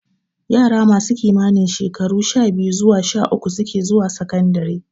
Yara masu kimanin shekaru sha-biyu zuwa sha-uku suke zuwa sakandare.